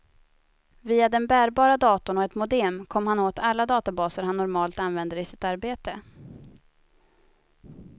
Via den bärbara datorn och ett modem kom han åt alla databaser han normalt använder i sitt arbete.